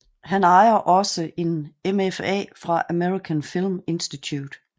Han ejer også en MFA fra American Film Institute